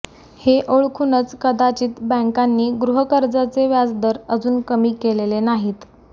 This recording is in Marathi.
हे ओळखूनच कदाचित बॅंकांनी गृहकर्जाचे व्याजदर अजून कमी केलेले नाहीत